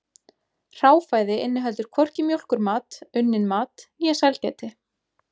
Hráfæði inniheldur hvorki mjólkurmat, unnin mat né sælgæti.